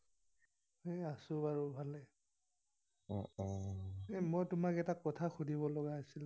এই আছোঁ আৰু ভালে। এৰ মই তোমাক এটা কথা সুধিব লগা আছিলে।